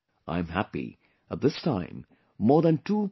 I am happy that this time more than 2